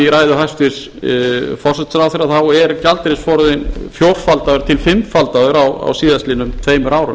ræðu hæstvirts forsætisráðherra er gjaldeyrisforðinn fjórfaldaður til fimmfimmfaldaður á síðastliðnum tveimur árum